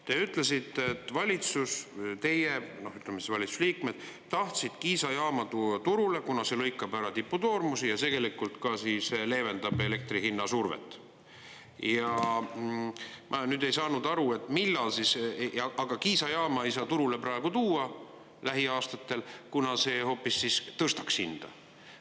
Te ütlesite, et valitsus või teie, ütleme siis valitsuse liikmed, tahtsid Kiisa jaama tuua turule, kuna see lõikab ära tipukoormuse ja leevendab elektri hinna survet, aga Kiisa jaama ei saa turule praegu tuua lähiaastatel, kuna see hoopis tõstaks hinda.